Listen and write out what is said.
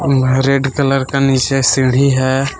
Red colour का नीचे सीढ़ी है।